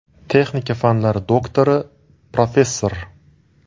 Texnika fanlari doktori, professor.